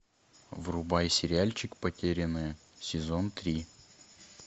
врубай сериальчик потерянные сезон три